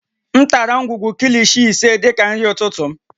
M tara ngwugwu Kilishi ise dị ka nri ụtụtụ m